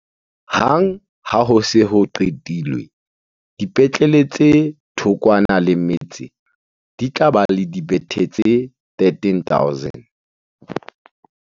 Hang ha ho se ho qetilwe, dipetlele tse thokwana le metse di tla ba le dibethe tse13 000.